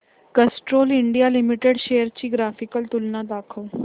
Castrol India limited shares ची graphical तुलना दाखव